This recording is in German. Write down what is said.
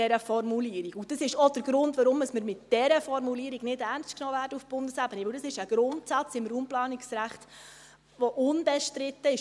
Das ist auch der Grund, weshalb wir mit dieser Formulierung nicht ernst genommen werden auf Bundesebene, denn dies ist ein Grundsatz des Raumplanungsrechts, der unbestritten ist.